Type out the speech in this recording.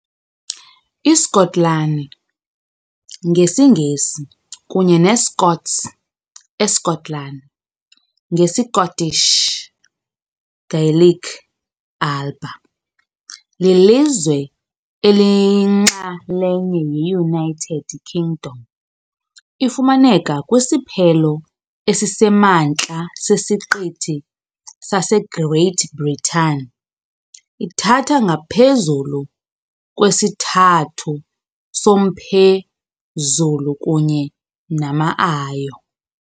ISkotlani, ngesiNgesi kunye neScots "eSkotlani", ngesiScottish Gaelic "Alba", lilizwe eliyinxalenye ye-United Kingdom. Ifumaneka kwisiphelo esisemantla sesiqithi sase-Great Britain, ithatha ngaphezulu kwesithathu somphezulu kunye nama ayo.